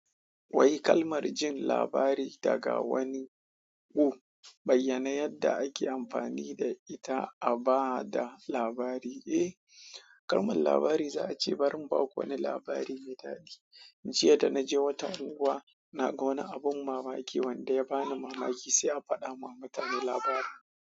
Wai kalmar jin labari daga wani ƙu bayyana yadda ake amfani da ita a ba da labari? Eh, kalmar labari za a ce bari mu ba ku wani labari mai daɗi. Jiya da na je wata unguwa, na ga wani abin mamaki wanda ya bani mamaki sai a faɗa ma mutane labarin.